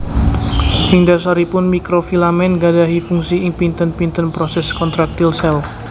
Ing dasaripun Mikrofilamen gadahi fungsi ing pinten pinten proses kontraktil sel